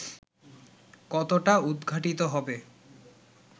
কতটা উদঘাটিত হবে